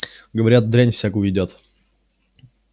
говорят дрянь всякую едят